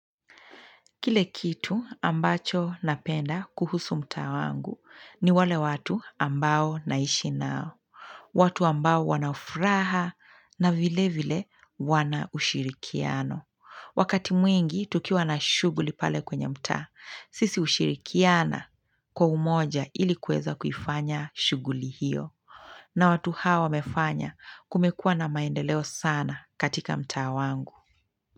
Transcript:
Kile kitu ambacho napenda kuhusu mtaa wangu ni wale watu ambao naishi nao. Watu ambao wana furaha na vile vile wana ushirikiano. Wakati mwingi tukiwa na shuguli pale kwenye mtaa. Sisi hushirikiana kwa umoja ili kuweza kuifanya shuguli hiyo. Na watu hawa wamefanya kumekuwa na maendeleo sana katika mtaa wangu.